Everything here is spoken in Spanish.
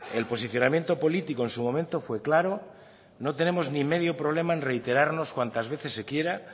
el posicionamiento político en su momento fue claro no tenemos ni medio problema en reiterarnos cuantas veces se quiera